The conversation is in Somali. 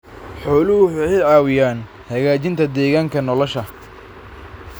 Xooluhu waxay caawiyaan hagaajinta deegaanka nolosha.